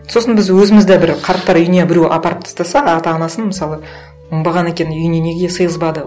сосын біз өзіміз де бір қарттар үйіне біреу апарып тастаса ата анасын мысалы оңбаған екен үйіне неге сиғызбады